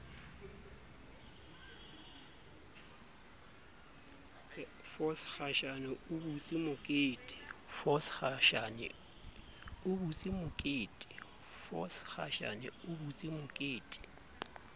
force khashane o butse mokete